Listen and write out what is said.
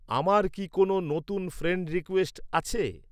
আমার কি কোনো নতুন ফ্রেণ্ড রিকোয়েস্ট আছে